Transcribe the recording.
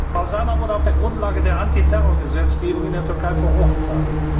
Frau Zana wurde auf der Grundlage der Antiterrorgesetzgebung in der Türkei verurteilt.